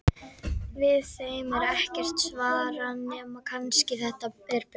Við þeim er ekkert svar nema kannski: Þetta er bull!